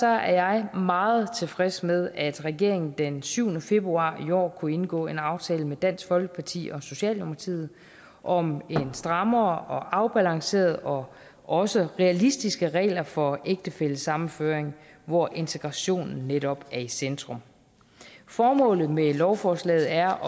er jeg meget tilfreds med at regeringen den syvende februar i år kunne indgå en aftale med dansk folkeparti og socialdemokratiet om strammere og afbalancerede og også realistiske regler for ægtefællesammenføring hvor integrationen netop er i centrum formålet med lovforslaget er